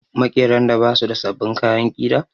Maƙeran da ba su da sabbin kayan ƙira